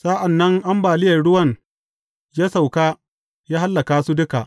Sa’an nan ambaliyar ruwan ya sauka, ya hallaka su duka.